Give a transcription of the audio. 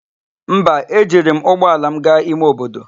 Mba, ejiri m ụgbọala m gaa ime obodo.